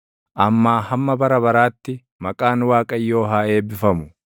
Ammaa hamma bara baraatti maqaan Waaqayyoo haa eebbifamu.